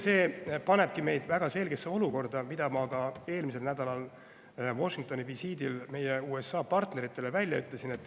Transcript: See panebki meid väga selgesse olukorda, mida ma ka eelmisel nädalal Washingtoni visiidil meie USA partneritele välja ütlesin.